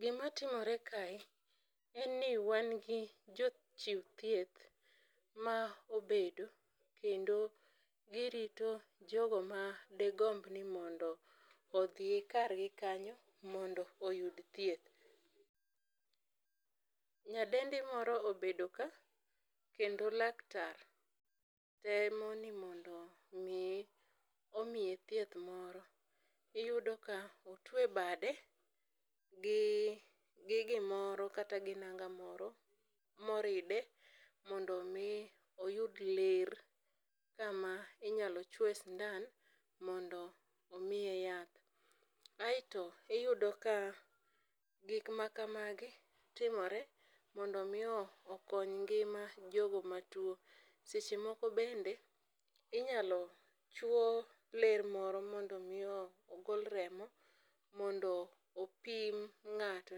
Gima timore kae, en ni wan gi jochiw thieth ma obedo kendo girito jogo ma de gomb ni mondo odhi kargi kanyo mondo oyud thieth. Nyadendi moro obedo ka kendo laktar temo ni mondo mi omiye thieth moro. Iyudo ka otwe bade gi gimoro kata gi nanga moro moride mondo mi oyud ler kama inyal chuoe sindan mondo omiye yath. Aito iyudo ka gik ma kamagi timore, mondo mi okony ngima jogo matuo. Seche moko bende, inyalo chwo ler moro mondo mi ogol remo ,mondo opim ng'ato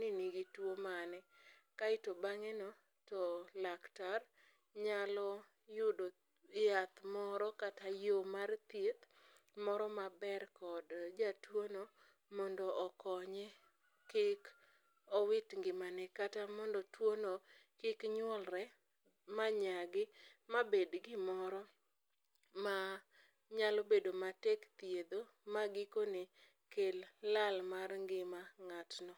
ni nigi tuo mane kaito bang'eno, to laktar nyalo yudo yath moro kata yoo mar thieth moro maber kod jatuono, mondo okonye kik owit ngimane kata mondo tuono kik nyuolre ma nyagi, mabed gimoro ma nyalo bedo matek thiedho, ma gikone, kel lal mar ngima ng'atno.